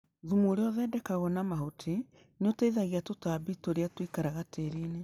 Thumu ũrĩa ũthondekagwo na mahuti nĩũteithagia tũtambi tũrĩa tũikaraga tĩrinĩ.